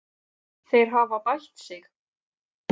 Þeir hafa bætt sig.